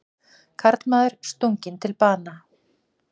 Karlmaður stunginn til bana